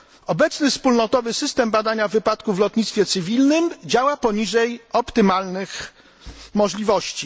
Obecny wspólnotowy system badania wypadków w lotnictwie cywilnym działa poniżej optymalnych możliwości.